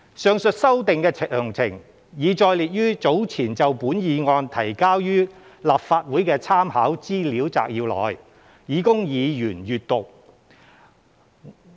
上述修訂的詳情，已載列於早前就本議案提交予立法會的參考資料摘要內，以供議員閱覽。